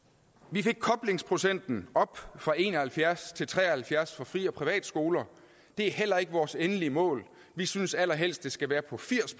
vi fik koblingsprocenten op fra en og halvfjerds til tre og halvfjerds for fri og privatskoler det er heller ikke vores endelige mål vi synes at den allerhelst skal være på firs